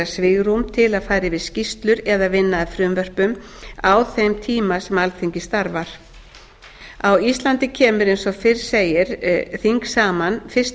svigrúm til að fara yfir skýrslur eða vinna að frumvörpum á þeim tíma sem alþingi starfar á íslandi kemur eins og fyrr segir þing saman fyrsta